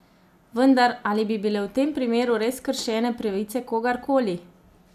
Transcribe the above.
Vendar, ali bi bile v tem primeru res kršene pravice kogarkoli?